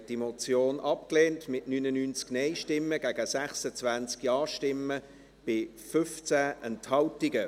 Sie haben diese Motion abgelehnt, mit 99 Nein- gegen 26 Ja-Stimmen bei 15 Enthaltungen.